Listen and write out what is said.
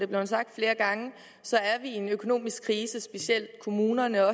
blevet sagt flere gange i en økonomisk krise specielt kommunerne